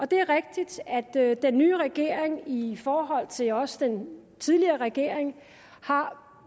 det er rigtigt at den nye regering i forhold til også den tidligere regering har